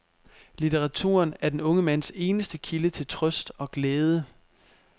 Litteraturen er den unge mands eneste kilde til trøst og glæde.